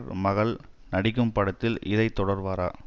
மகள் நடிக்கும் படத்திலும் இதை தொடர்வாரா